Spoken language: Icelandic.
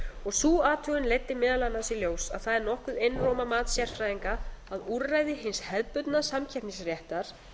og sú athugun leiddi meðal annars í ljós að það er nokkuð einróma mat sérfræðinga að úrræði hins hefðbundna samkeppnisréttar